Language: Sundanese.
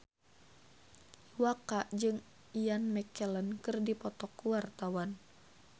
Iwa K jeung Ian McKellen keur dipoto ku wartawan